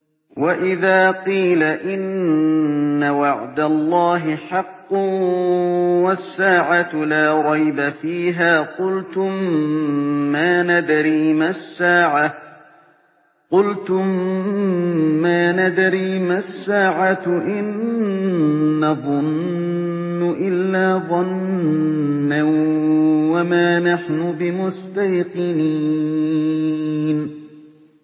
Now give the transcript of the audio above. وَإِذَا قِيلَ إِنَّ وَعْدَ اللَّهِ حَقٌّ وَالسَّاعَةُ لَا رَيْبَ فِيهَا قُلْتُم مَّا نَدْرِي مَا السَّاعَةُ إِن نَّظُنُّ إِلَّا ظَنًّا وَمَا نَحْنُ بِمُسْتَيْقِنِينَ